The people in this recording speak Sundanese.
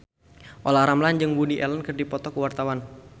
Olla Ramlan jeung Woody Allen keur dipoto ku wartawan